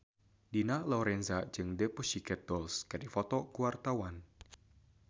Dina Lorenza jeung The Pussycat Dolls keur dipoto ku wartawan